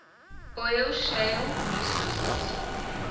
oil shale resources